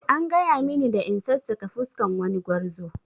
An gaya mini da in sassaƙa fuskan wani gwarzo